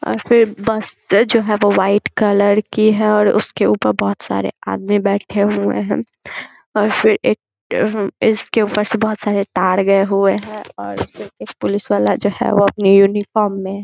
और फिर बस जो है वो वाइट कलर की है और उसके ऊपर बहुत सारे आदमी बैठे हुए हैं और फिर एक एम्म इसके ऊपर से बहुत सारे तार गए हुए हैं एक एक पुलिस वाला जो एक वो अपनी यूनिफार्म में है ।